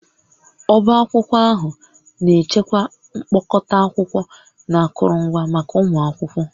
Ọbá akwụkwọ ahụ na-echekwa mkpokọta akwụkwọ na akụrụngwa maka ụmụ akwụkwọ